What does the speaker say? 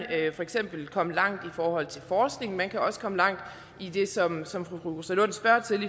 for eksempel komme langt i forhold til forskning og man kan også komme langt i det som som fru rosa lund spørger til